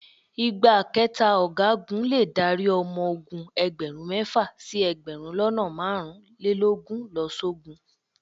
Ìgbákẹta Ọ̀gágun le dárí ọmọ ogun ẹgbẹ̀rún mẹ́fà sí ẹgbẹ̀rún lọ́nà márùn-ún lélógún lọ sógun.